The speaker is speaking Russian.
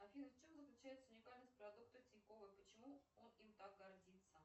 афина в чем заключается уникальность продукта тинькова и почему он им так гордится